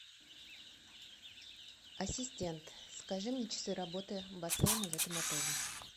ассистент скажи мне часы работы бассейна в этом отеле